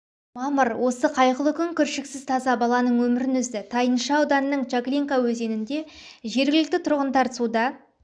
мамыр осы қайғылы күн кіршіксіз таза баланың өмірін үзді тайынша ауданының чаглинка өзенінде жергілкті тұрғындар суда